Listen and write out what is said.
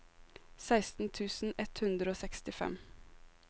seksten tusen ett hundre og sekstifem